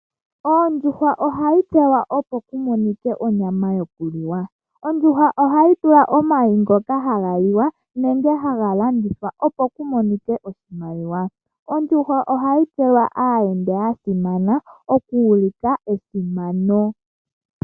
Ondjuhwa ohayi pelwa opo ku monike onyama yoku liwa. Ondjuhwa ohayi pewa omayi ngoka haga liwa nenge haga landithwa opo ku monike oshimaliwa. Ondjuhwa ohayi pewa aayenda ya simana, oku ulika esimano.